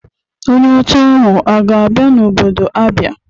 Onye ọcha ahụ a ga-abịa n'obodo Abia?